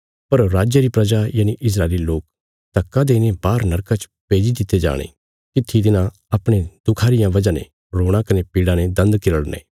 पर राज री प्रजा यनि इस्राएली लोक धक्का देईने बाहर नरका च भेज्जी दित्ति जाणी तित्थी तिन्हां अपणे दुखां रिया वजह ने रोणा कने पीड़ा ने दान्द किरड़ने